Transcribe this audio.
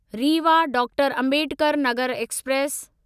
Rewa doctor Ambedkar Nagar express